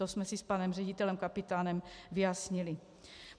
To jsme si s panem ředitelem Kapitánem vyjasnili.